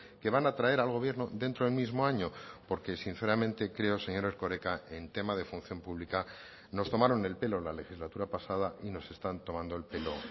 que van a traer al gobierno dentro del mismo año porque sinceramente creo señor erkoreka en tema de función pública nos tomaron el pelo la legislatura pasada y nos están tomando el pelo